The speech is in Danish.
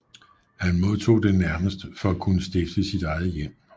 Han modtog det nærmest for at kunne stifte sit eget hjem